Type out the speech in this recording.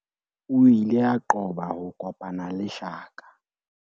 o ile a qoba ho kopana le shaka